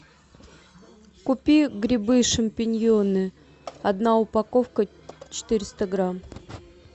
купи грибы шампиньоны одна упаковка четыреста грамм